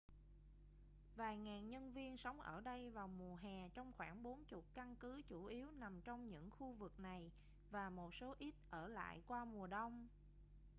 vài ngàn nhân viên sống ở đây vào mùa hè trong khoảng bốn chục căn cứ chủ yếu nằm trong những khu vực này và một số ít ở lại qua mùa đông